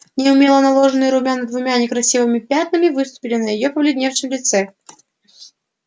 неумело наложенные румяна двумя некрасивыми пятнами выступили на её побелевшем лице